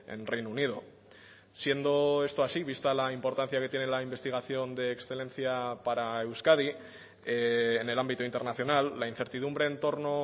en reino unido siendo esto así vista la importancia que tiene la investigación de excelencia para euskadi en el ámbito internacional la incertidumbre en torno